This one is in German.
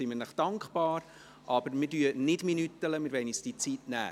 Wir werden die Zeit aber nicht auf die Sekunde genau stoppen.